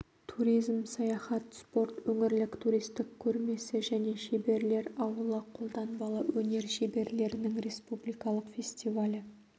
туризм саяхат спорт өңірлік туристік көрмесі және шеберлер ауылы қолданбалы өнер шеберлерінің республикалық фестивалі